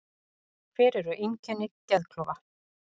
Hver eru einkenni geðklofa?